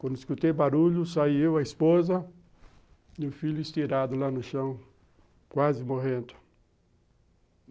Quando escutei barulho saí eu, a esposa e o filho estirado lá no chão, quase morrendo.